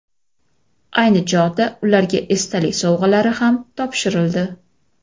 Ayni chog‘da ularga esdalik sovg‘alari ham topshirildi.